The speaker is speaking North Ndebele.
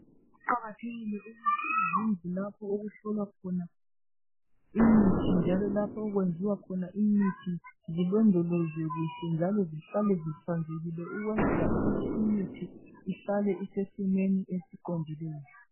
Kuqakathekile ukuthi izindlu lapho ukuhlolwa khona imithi, njalo lapho okwenziwa khona imithi zilondolozwe kuhle njalo zihlale zihlanzekile ukwenzela ukuthi imithi ihlale isesimeni esiqondileyo.